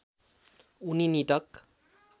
उनी निटक